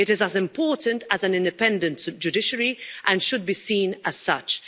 It is as important as an independent judiciary and should be seen as such.